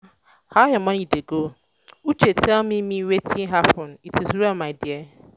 how your morning dey go? uche tell me me wetin happen it is well my dear.